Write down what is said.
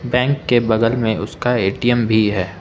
Bank के बगल में उसका ए_टी_एम भी है।